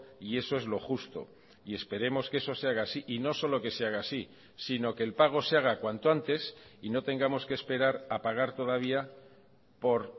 y eso es lo justo y esperemos que eso se haga así y no solo que se haga así sino que el pago se haga cuanto antes y no tengamos que esperar a pagar todavía por